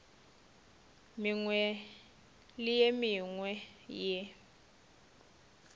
mengwe le ye mengwe ye